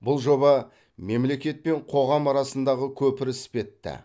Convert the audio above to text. бұл жоба мемлекет пен қоғам арасындағы көпір іспетті